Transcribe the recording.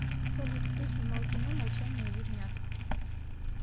салют кто снимал кино молчание ягнят